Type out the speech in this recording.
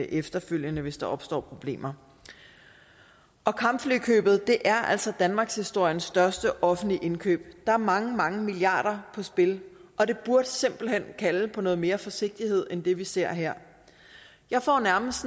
efterfølgende hvis der opstår problemer kampflykøbet er altså danmarkshistoriens største offentlige indkøb der er mange mange milliarder på spil og det burde simpelt hen kalde på noget mere forsigtighed end det vi ser her jeg får nærmest